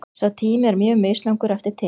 Sá tími er mjög mislangur eftir tegundum.